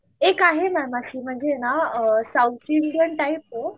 एक आहे ना म्हणजे ना साऊथची इंडियन टाईप.